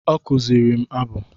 Ọ kụziri m abụ